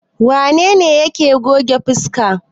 Wane ne yake goge fuska?